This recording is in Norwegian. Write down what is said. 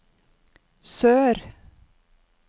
sør